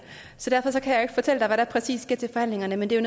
så derfor kan jeg ikke fortælle dig hvad der præcis sker til forhandlingerne men det er